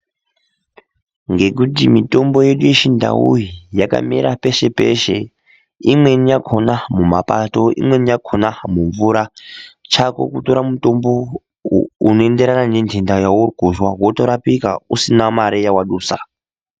Ngekuti mitombo yedu yechindau iyi yakamera peshe -peshe imweni yakona mumapato imweni yakona mumvura chako kutora mutombo unoenderana nenhenda yawurikuzwa wotorapika usina mare yawadusa.